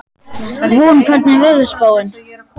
Von, hvernig er veðurspáin?